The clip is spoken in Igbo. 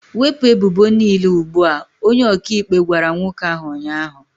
Wepụ ebubo niile ugbu a! Onye ọkaikpe gwara nwoke ahụ ụnyaahụ.